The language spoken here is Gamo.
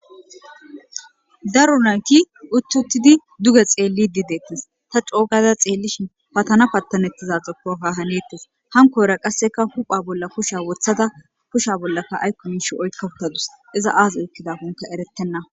Daro naati utti uttidi duge xeellidi de7ettes. Ta co ogada xeellishin patana pattanettiza xoppo ha haneettes. Hankora qasseka hupha bolla kusha wothada kusha bollaka aykko mishsha oykka utadus. iza aaza ekkida oykidankkokka erettenna.